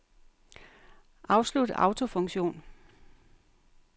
Afslut autofunktion.